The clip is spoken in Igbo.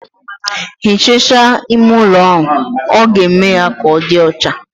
Hichasia ime ụlo ahụ, ọ ga-eme ya ka ọdi ọcha